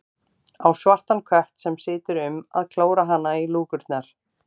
Á svartan kött sem situr um að klóra hana í lúkurnar.